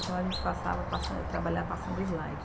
Então, a gente passava, passan, trabalhava passando slide.